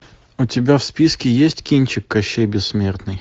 у тебя в списке есть кинчик кощей бессмертный